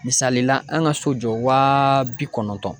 Misalila an ka so jɔ waa bi kɔnɔntɔn.